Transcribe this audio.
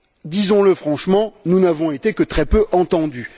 Disons le franchement, nous n'avons été que très peu entendus.